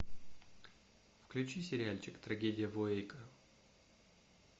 включи сериальчик трагедия в уэйко